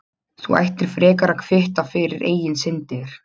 Þú ættir frekar að kvitta fyrir eigin syndir.